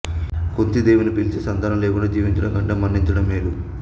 కుంతీ దేవిని పిలిచి సంతానం లేకుండా జీవించడం కంటే మరణించడం మేలు